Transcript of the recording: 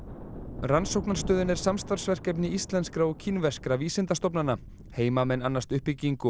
rannsóknarstöðin er samstarfsverkefni íslenskra og kínverskra vísindastofnana heimamenn annast uppbyggingu og